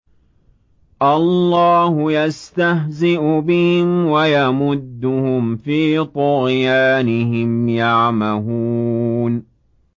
اللَّهُ يَسْتَهْزِئُ بِهِمْ وَيَمُدُّهُمْ فِي طُغْيَانِهِمْ يَعْمَهُونَ